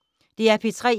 DR P3